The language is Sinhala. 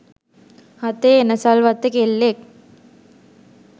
හතේ එනසල් වත්තේ කෙල්ලෙක්